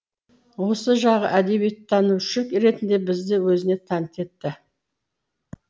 осы жағы әдебиеттанушы ретінде бізді өзіне тәнті етті